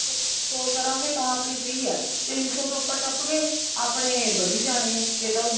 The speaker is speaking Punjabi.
call ਕਰਾਂਗੇ ਤਾਂ ਆਪਣੀ free ਹੈ ਤਿੰਨ ਸੋ ਤੋਂ ਉੱਪਰ ਟੱਪ ਗਏ ਆਪਣੇ ਵੱਧੀ ਜਾਣੇ ਆ ਜੇ ਤਾਂ